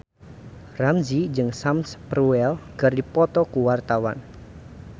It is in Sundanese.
Ramzy jeung Sam Spruell keur dipoto ku wartawan